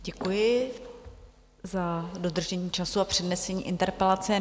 Děkuji za dodržení času a přednesení interpelace.